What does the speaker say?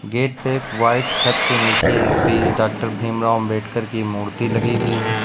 Gate पे white छत के नीचे भी डॉक्टर भीमराव अंबेडकर की मूर्ति लगी हुई है।